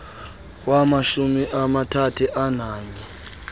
wamashumi amathathu ananye